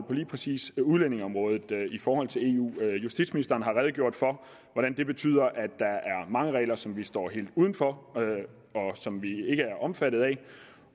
på lige præcis udlændingeområdet i forhold til eu justitsministeren har redegjort for at det betyder at der er mange regler som vi står helt uden for og som vi ikke er omfattet af